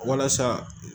Walasa